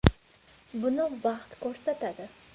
Buni vaqt ko‘rsatadi.